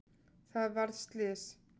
Það varð slys.